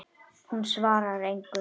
Hún svarar engu.